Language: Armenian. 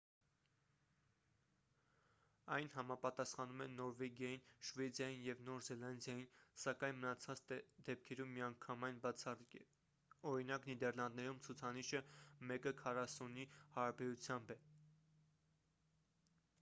այն համապատասխանում է նորվեգիային շվեդիային և նոր զելանդիային սակայն մնացած դեպքերում միանգամայն բացառիկ է օրինակ՝ նիդերլանդներում ցուցանիշը մեկը քառասունի հարաբերությամբ է: